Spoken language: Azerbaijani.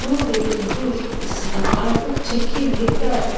Dur dedim, dur İsmət, artıq çəkil, yetər!